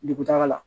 Dugutaga la